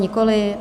Nikoli.